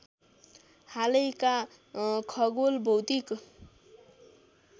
हालैका खगोल भौतिक